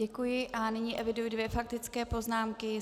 Děkuji a nyní eviduji dvě faktické poznámky.